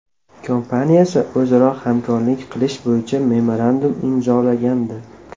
kompaniyasi o‘zaro hamkorlik qilish bo‘yicha memorandum imzolagandi .